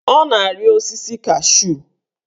Ọ na-arị osisi cashu